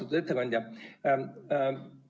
Austatud ettekandja!